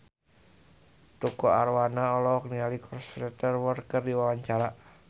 Tukul Arwana olohok ningali Cristhoper Waltz keur diwawancara